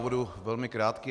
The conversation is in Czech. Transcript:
Budu velmi krátký.